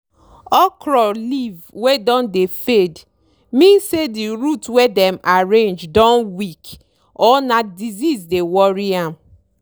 okro leave wey don dey fade mean say di root wey dem arrange don weak or na disease dey worry am.